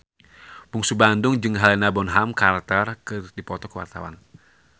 Bungsu Bandung jeung Helena Bonham Carter keur dipoto ku wartawan